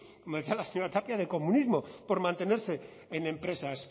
como decía la señora tapia de comunismo por mantenerse en empresas